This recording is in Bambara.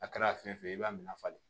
A kɛra fɛn fɛn ye i b'a minɛ falen